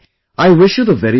I wish you the very best